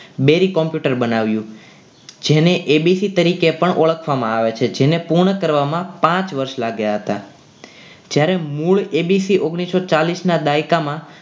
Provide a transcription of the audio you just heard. Dairy computer બનાવ્યું જેને ABC તરીકે પણ ઓળખવામાં આવે છે જેને પૂર્ણ કરવામાં પાંચ વર્ષ લાગ્યા હતા. જ્યારે મૂળ એબીસી ઓગણીસો ચાલીસના દાયકામાં